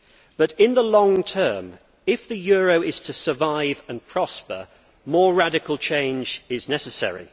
But in the long term, if the euro is to survive and prosper, more radical change is necessary.